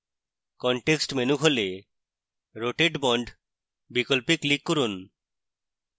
contextmenu খোলে rotate bond বিকল্পে click করুন